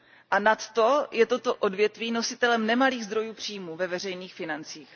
A nadto je toto odvětví nositelem nemalých zdrojů příjmů ve veřejných financích.